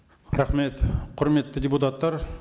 рахмет құрметті депутаттар